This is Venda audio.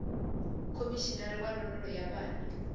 khomishinari wa ndondolo ya vhana